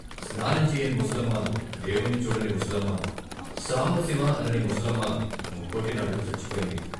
స్నానం చేయని ముసలమ్మ, డేవుణ్ణి చూడని ముసలమ్మ, సాంబశివా అనని ముసలమ్మ ముక్కోటినాడు చచ్చిపోయింది.